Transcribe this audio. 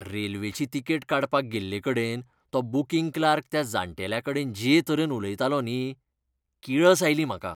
रेल्वेची तिकेट काडपाक गेल्ले कडेन तो बूकिंग क्लार्क त्या जाण्टेल्याकडेन जे तरेन उलयतालो न्ही, किळस आयली म्हाका.